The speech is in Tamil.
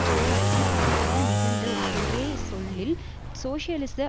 ஜனநாயகம் சமத்துவம் மிகுந்த ஓரே சொல்லில் சோசியலிச